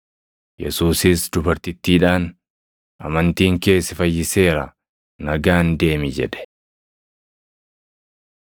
Yesuusis dubartittiidhaan, “Amantiin kee si fayyiseera; nagaan deemi” jedhe.